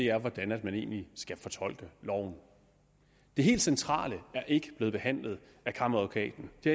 er hvordan man egentlig skal fortolke loven det helt centrale er ikke blevet behandlet af kammeradvokaten det